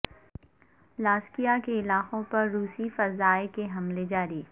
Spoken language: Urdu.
لازکیہ کے علاقوں پر روسی فضائیہ کے حملے جاری